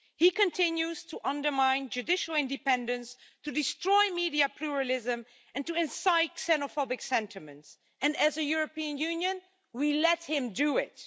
He continues to undermine judicial independence, to destroy media pluralism and to incite xenophobic sentiments, and as a European Union, we let him do it.